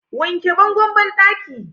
wanke bangon banɗakin!